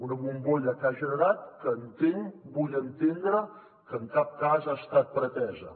una bombolla que ha generat que entenc vull entendre ho que en cap cas ha estat pretesa